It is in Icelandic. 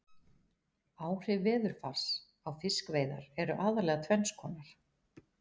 Áhrif veðurfars á fiskveiðar eru aðallega tvenns konar.